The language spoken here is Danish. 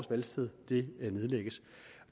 valgsted nedlægges